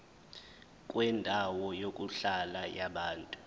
kwendawo yokuhlala yabantu